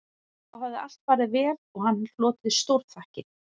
Þá hafði allt farið vel og hann hlotið stórþakkir